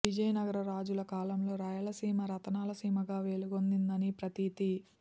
విజయనగర రాజుల కాలంలో రాయలసీమ రతనాల సీమగా వెలుగొందిందని ప్రతీతి